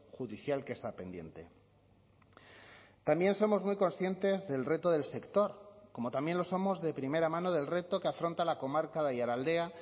judicial que está pendiente también somos muy conscientes del reto del sector como también lo somos de primera mano del reto que afronta la comarca de aiaraldea